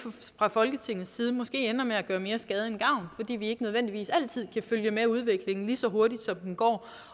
fra folketingets side måske ender med at gøre mere skade end gavn fordi vi ikke nødvendigvis altid kan følge med udviklingen lige så hurtigt som den går